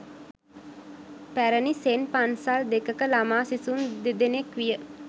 පැරණි සෙන් පන්සල් දෙකක ළමා සිසුන් දෙදෙනෙක් විය.